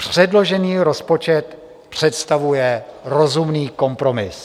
Předložený rozpočet představuje rozumný kompromis.